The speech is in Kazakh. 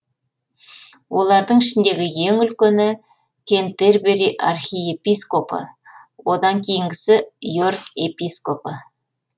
олардың ішіндегі ең үлкені кентерберий архиепископы одан кейінгісі йорк епископы